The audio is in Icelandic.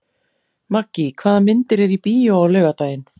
Maggý, hvaða myndir eru í bíó á laugardaginn?